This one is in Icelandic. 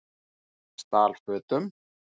Stal fötum